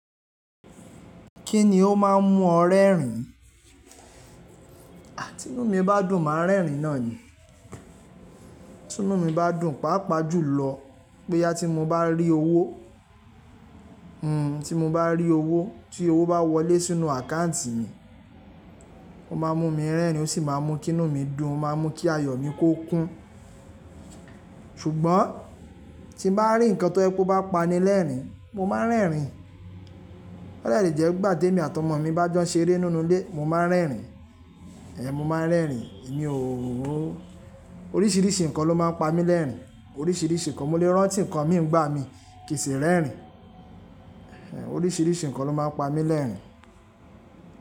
Kí ni ó máa ń mú ọ rẹ́rìn-ín? Tínú mi bá dùn, màá rẹ́rìn-ín náà ni. Tínú mi bá dùn, pàápàá jùlọ bóyá tí mo bá rí owó, hmmm tí mo bá rí owó, tí owó bá wọlé sínú àkáǹtì mi, ó máa mú mi rẹ́rìn-ín ó sì máa mú kínú mi dùn, ó máa mú kí ayọ̀ mi kó kún. Ṣùgbọ́n tí n bá rí nǹkan tó yẹ pe ó bá pani lẹ́rìn-ín, mo máa ń rẹ́rìn-ín. Ó dẹ̀ lè jẹ́ ìgbà tèmi àti ọmọ mi bá jọ n ṣeré nínú ilé, mo máa ń rẹ́rìn-ín. Ehn mo máa ń rẹ́rìn-ín, èmi ò ó. Oríṣiríṣi nkan ló máa ń pamílẹ́rìn, oríṣiríṣi nkan, mo lè rántí nkan ìmí nígbàmí kí n sì rẹ́rìn, en, oríṣiríṣi nkan ló máa ń pami lẹ́rìn.